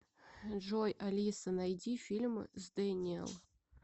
джой алиса найди фильм с дэниел